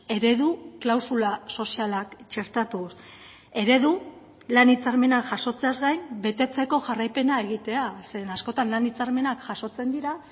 eredu klausula sozialak txertatuz eredu lan hitzarmena jasotzeaz gain betetzeko jarraipena egitea zeren askotan lan hitzarmenak jasotzen dira